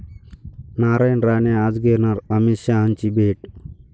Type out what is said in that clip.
नारायण राणे आज घेणार अमित शहांची भेट